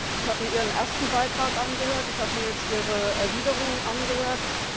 Ich habe mir Ihren ersten Beitrag angehört, ich habe mir jetzt Ihre Erwiderungen angehört.